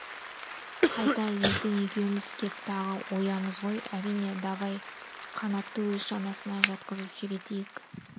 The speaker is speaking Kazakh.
қайтайық ертең екеуміз кеп тағы оямыз ғой әрине давай қанатты өз шанасына жатқызып сүйретейік